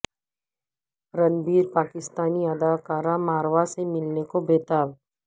رنبیر پاکستانی اداکارہ ماورا سے ملنے کو بے تاب